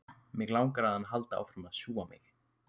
Mig langar að hann haldi áfram að sjúga mig.